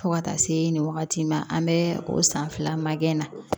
Fo ka taa se nin wagati ma an bɛ o san fila makɛ na